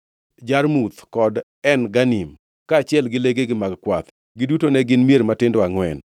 Jarmuth kod En Ganim, kaachiel gi legegi mag kwath. Giduto ne gin mier matindo angʼwen.